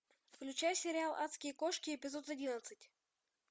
включай сериал адские кошки эпизод одиннадцать